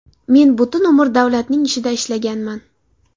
Men butun umr davlatning ishida ishlaganman.